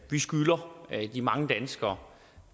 vi skylder de mange danskere